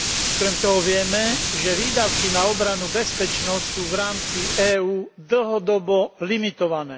Okrem toho vieme, že výdavky na obranu a bezpečnosť sú v rámci EÚ dlhodobo limitované.